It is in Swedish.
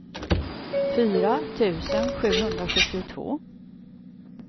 fyra tusen sjuhundrasjuttiotvå